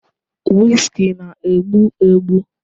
Whiskey na-egbu egbu